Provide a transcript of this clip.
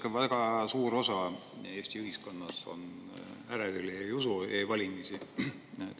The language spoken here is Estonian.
Vaadake, väga suur osa Eesti ühiskonnast on ärevil ja ei usu e-valimistesse.